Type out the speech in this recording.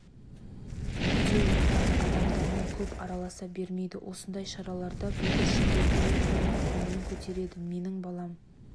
үйде отырады адамдармен көп араласа бермейді осындай шараларда бүлдіршіндер ойын ойнап көңілін көтереді менің балам